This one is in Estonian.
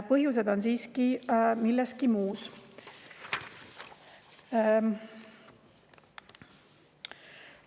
Põhjused on siiski milleski muus.